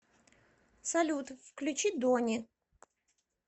салют включи дони